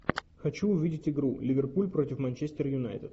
хочу увидеть игру ливерпуль против манчестер юнайтед